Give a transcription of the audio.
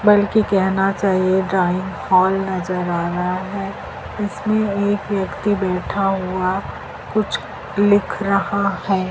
बल्कि केहना चाहिए ड्राइंग हॉल नजर आ रहा हैं इसमें एक व्यक्ति बैठा हुआ कुछ लिख रहा हैं।